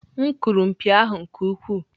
M kụpụrụ mpi ahụ nke ukwuu.